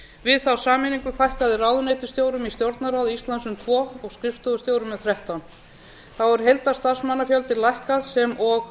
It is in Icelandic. við þá sameiningu fækkaði ráðuneytisstjórum í stjórnarráði íslands um tvö og skrifstofustjórum um þrettán þá hefur heildarstarfsmannafjöldi lækkað sem og